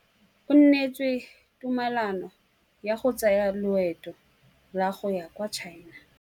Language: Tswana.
O neetswe tumalanô ya go tsaya loetô la go ya kwa China.